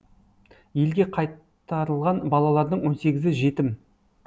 елге қайтарылған балалардың он сегізі жетім